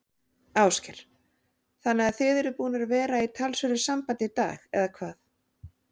Ásgeir: Þannig að þið eruð búnir að vera í talsverðu sambandi í dag, eða hvað?